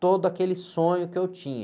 todo aquele sonho que eu tinha.